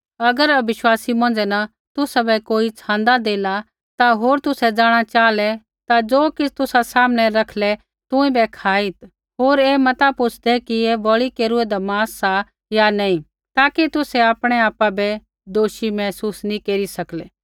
अगर अविश्वासी मौंझ़ै न तुसाबै कोई नेउता देला ता होर तुसै जाँणा च़ाहलै ता ज़ो किछ़ तुसा सामनै रखलै ता तेथा बै खाई होर ऐ मत पूछ़दै कि ऐ बलि केरूआदा मांस सा या नैंई ताकि तुसै आपणा आपा बै दोषी महसूस नैंई केरी सकलै